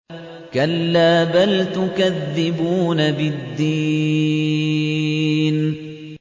كَلَّا بَلْ تُكَذِّبُونَ بِالدِّينِ